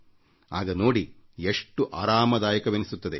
ಆಗ ನೋಡಿ ಎಷ್ಟು ಆರಾಮದಾಯಕವೆನಿಸುತ್ತದೆ